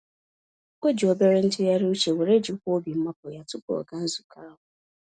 O ji obere ntụgharị uche were jikwaa obi mmapụ yá, tupu ọ gaa nzukọ ahụ.